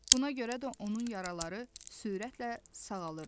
Buna görə də onun yaraları sürətlə sağalırdı.